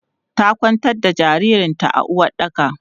Ta kwantar da jaririn ta a uwaɗɗaka.